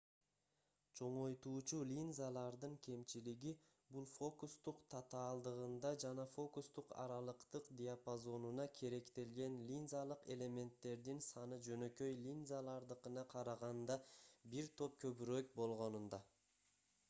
чоңойтуучу линзалардын кемчилиги бул фокустук татаалдыгында жана фокустук аралыктык диапазонуна керектелген линзалык элементтердин саны жөнөкөй линзалардыкына караганда бир топ көбүрөөк болгонунда